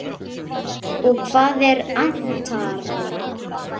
Og hvað er atarna?